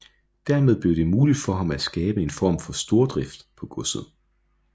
Hermed blev det muligt for ham at skabe en form for stordrift på godset